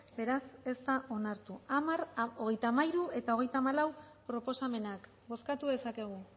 beraz ez da onartu hamar hogeita hamairu eta hogeita hamalau proposamenak bozkatu dezakegu